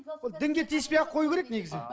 ол дінге тиіспей ақ қою керек негізі